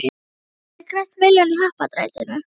Þá hafið þér grætt milljón í happadrættinu.